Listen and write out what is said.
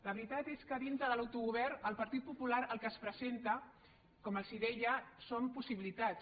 la veritat és que dintre de l’autogovern el partit popular el que els presenta com els deia són possibilitats